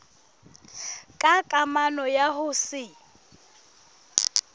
ka kamano ya ho se